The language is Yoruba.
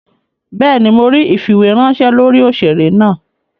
Béèni, Mó ríi ifiweranṣẹ lórí òṣèré náa.